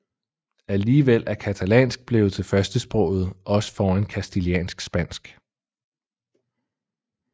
Alligevel er catalansk blevet til førstesproget også foran castiliansk spansk